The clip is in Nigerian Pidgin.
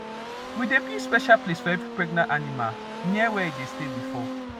we dey build special place for every pregnant animal near where e dey stay before